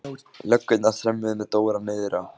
Löggurnar þrömmuðu með Dóra niður á